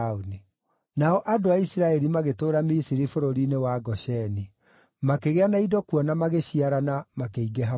Nao andũ a Isiraeli magĩtũũra Misiri bũrũri-inĩ wa Gosheni. Makĩgĩa na indo kuo na magĩciarana, makĩingĩha mũno.